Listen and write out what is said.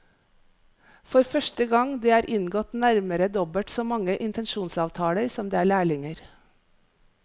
For første gang det er inngått nærmere dobbelt så mange intensjonsavtaler som det er lærlinger.